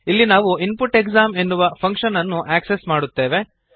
ಇಲ್ಲಿ ನಾವು input exam ಎನ್ನುವ ಫಂಕ್ಶನ್ ಅನ್ನು ಆಕ್ಸೆಸ್ ಮಾಡುತ್ತೇವೆ